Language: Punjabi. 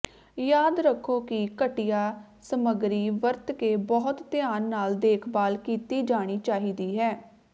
ਯਾਦ ਰੱਖੋ ਕਿ ਘਟੀਆ ਸਮੱਗਰੀ ਵਰਤ ਕੇ ਬਹੁਤ ਧਿਆਨ ਨਾਲ ਦੇਖਭਾਲ ਕੀਤੀ ਜਾਣੀ ਚਾਹੀਦੀ ਹੈ